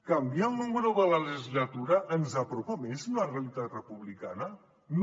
canviar el número de la legislatura ens apropa més a una realitat republicana no